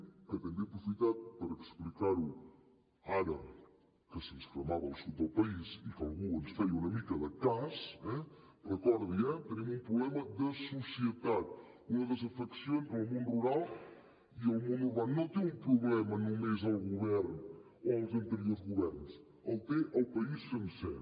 que també he aprofitat per explicar ho ara que se’ns cremava el sud del país i que algú ens feia una mica de cas eh recordi ho tenim un problema de societat una desafecció entre el món rural i el món urbà no té un problema només el govern o els anteriors governs el té el país sencer